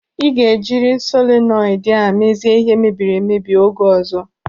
Ị ga-ejiri solenoidi a mezie ihe mebiri emebi oge ọzọ!